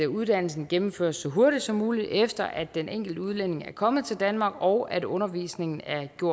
uddannelsen gennemføres så hurtigt som muligt efter at den enkelte udlænding er kommet til danmark og at undervisningen